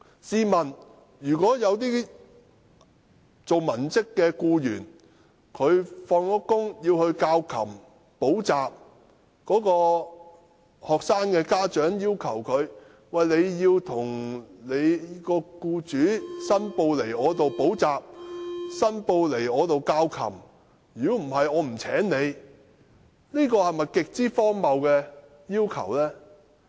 試問如果文職僱員在下班後從事教琴或補習工作，但學生的家長卻要求他們向其僱主申報這些教琴或補習工作，否則不會聘請他們，這是否極為荒謬的要求呢？